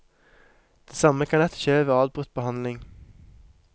Det samme kan lett skje ved avbrutt behandling.